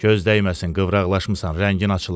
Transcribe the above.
Göz dəyməsin qıvraqlaşmısan, rəngin açılıb.